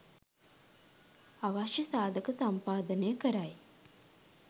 අවශ්‍ය සාධක සම්පාදනය කරයි.